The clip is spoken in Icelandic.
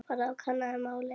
Farðu og kannaðu málið.